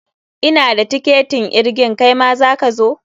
Ina da tiketin irgin, kaima za ka zo?